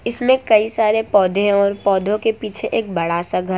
इसमें कई सारे पौधे और पौधों के पीछे एक बड़ा सा घर --